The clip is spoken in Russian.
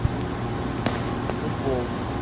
футбол